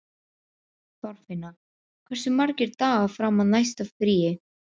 Þorfinna, hversu margir dagar fram að næsta fríi?